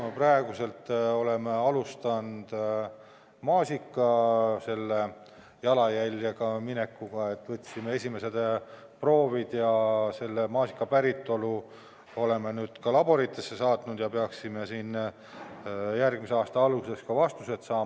Me praegu oleme alustanud maasika jalajäljega, võtsime esimesed proovid ja maasika päritolu oleme ka laboritesse saatnud ning peaksime järgmise aasta alguses vastused saama.